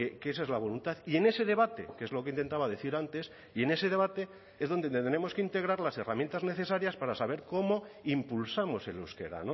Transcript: que esa es la voluntad y en ese debate que es lo que intentaba decir antes y en ese debate es donde tenemos que integrar las herramientas necesarias para saber cómo impulsamos el euskera